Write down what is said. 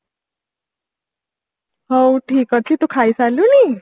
ହଉ ଠିକ ଅଛି ତୁ ଖାଇ ସାରିଲୁଣି